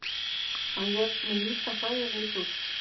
Hann lét mig líta hræðilega illa út.